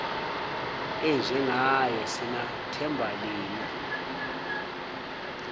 enjengaye sinathemba lini